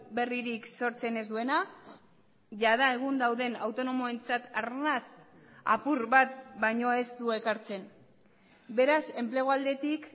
berririk sortzen ez duena jada egun dauden autonomoentzat arnas apur bat baino ez du ekartzen beraz enplegu aldetik